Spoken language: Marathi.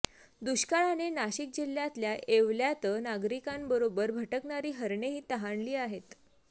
दुष्काळाने नाशिक जिल्ह्यातल्या येवल्यात नागरिकांबरोबर भटकणारी हरणेही तहानली आहेत